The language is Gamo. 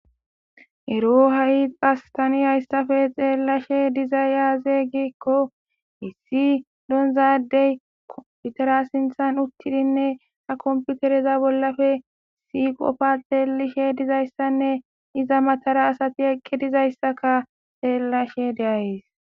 ero ha7i phastani hayssafe xeellashe diza yaaze giikko hissi donzadey komputera sinthan uttidinne ha komputereza bollafe si qopfa xeelishe dizayssanne iza matara asati eqqi dizayssaka xeellashe deayes